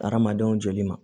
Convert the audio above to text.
Hadamadenw joli ma